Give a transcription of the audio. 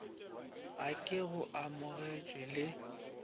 a ke go amogetše le